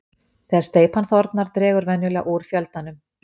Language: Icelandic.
Þegar steypan þornar dregur venjulega úr fjöldanum.